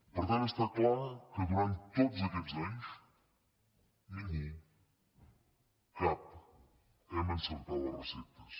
per tant està clar que durant tots aquests anys ningú cap hem encertat les receptes